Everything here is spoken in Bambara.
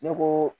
Ne ko